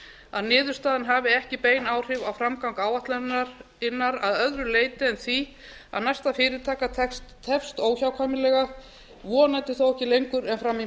að niðurstaðan hafi ekki bein áhrif á framgang áætlunarinnar að öðru leyti en því að næsta fyrirtaka tefst óhjákvæmilega vonandi þó ekki lengur en fram í